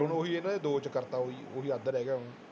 ਹੁਣ ਉਹੀ ਇਹਨਾਂ ਨੇ ਦੋ ਚ ਕਰ ਦਿੱਤਾ ਉਹੀ, ਉਹੀ ਅੱਧ ਰਹਿ ਗਿਆ ਹੁਣ।